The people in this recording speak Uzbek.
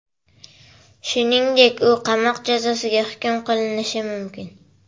Shuningdek, u qamoq jazosiga hukm qilinishi mumkin.